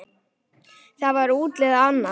Þá var útlitið annað.